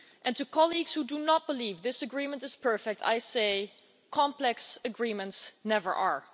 To colleagues who do not believe this agreement is perfect, I say that complex agreements never are.